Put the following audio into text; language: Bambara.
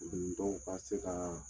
Nin dɔw ka se ka